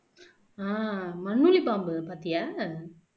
ஆஹ் மண்ணுளி பாம்பு பாத்தியா